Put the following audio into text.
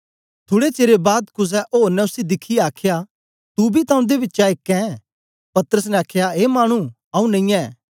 थुड़े चेर बाद कुसे ओर ने उसी दिखियै आखया तू बी तां उन्दे बिचा एक ऐं पतरस ने आखया ए मानु आऊँ नेई ऐं